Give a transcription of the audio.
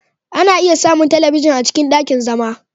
Ana iya samun talabijin a cikin ɗakin zama.